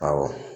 Awɔ